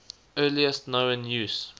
earliest known use